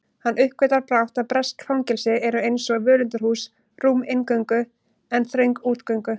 Hann uppgötvar brátt að bresk fangelsi eru einsog völundarhús, rúm inngöngu en þröng útgöngu